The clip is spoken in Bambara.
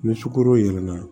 Ni sukoro yɛlɛmana